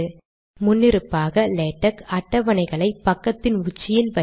முன்னிருப்பாக லேடக் அட்டவணைகளை பக்கத்தின் உச்சியில் வைக்கும்